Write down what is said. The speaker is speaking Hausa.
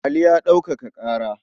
Ali ya ɗaukaka ƙara.